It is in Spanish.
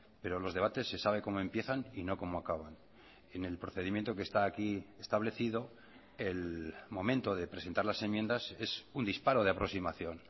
pero los debates se sabe como empiezan y no como acaban en el procedimiento que está aquí establecido el momento de presentar las enmiendas es un disparo de aproximación